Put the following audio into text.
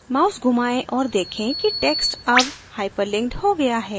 mouse घुमाएं और देखें कि text अब hyperlinked हो गया है